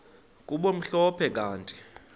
kube mhlophe kanti